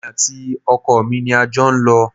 Èmi àti ọkọ mi ni a jọ ń lọ